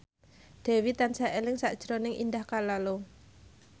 Dewi tansah eling sakjroning Indah Kalalo